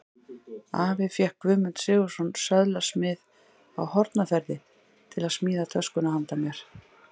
Afi fékk Guðmund Sigurðsson, söðlasmið á Hornafirði, til að smíða töskuna handa mér.